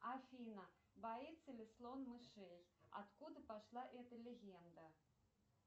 афина боится ли слон мышей откуда пошла эта легенда